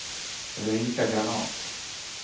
Ulrika Granath